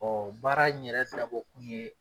baara in yɛrɛ dabɔ kun ye